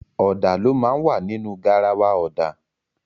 Ọ̀dà ló máa ń wà nínu garawa ọ̀dà.